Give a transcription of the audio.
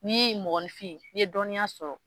N'i mɔgɔnifin n'i ye dɔnniya sɔrɔ